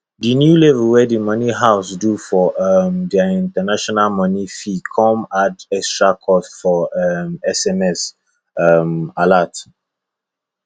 the new level wey the money house do for um their international money fee come add extra cost for um sms um alert